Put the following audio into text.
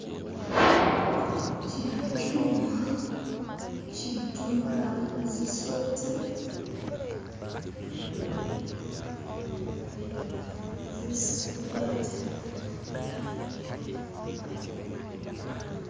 Kino kyuma ki'tunga zi'sweta isi khu'gwata.